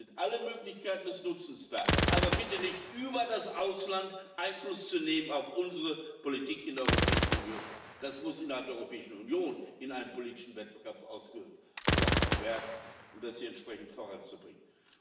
Es sind alle Möglichkeiten des Nutzens da, aber bitte nicht über das Ausland Einfluss zu nehmen auf unsere Politik in der Europäischen Union. Das muss innerhalb der Europäischen Union in einem politischen Wettbewerb ausgefochten werden, um das hier entsprechend voranzubringen.